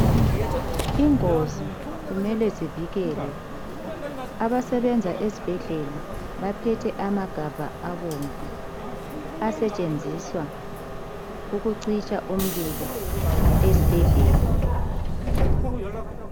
Ingozi kumele zivikelwe abasebenza esibhedlela baphethe amagabha abomvu asetshenziswa ukucitsha umlilo esibhedlela.